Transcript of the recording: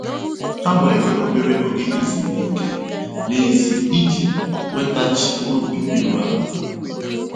Há wèrè óbérè óge ézúmíkè n'èzí íjì nwètaghachị́ óbì írú àlà.